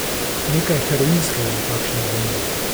Nekaj heroinskega je v takšni dvojini.